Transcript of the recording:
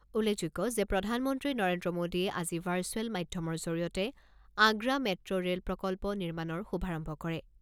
উল্লেখযোগ্য যে প্ৰধানমন্ত্ৰী নৰেন্দ্ৰ মোডীয়ে আজি ভাৰ্চুৱেল মাধ্যমৰ জৰিয়তে আগ্ৰা মেট্ৰো ৰে'ল প্ৰকল্প নিৰ্মাণৰ শুভাৰম্ভ কৰে।